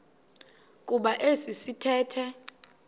kuba esi sithethe